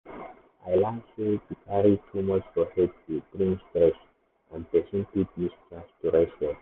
i learn sey to carry too much for head dey bring stress and person fit miss chance to rest well.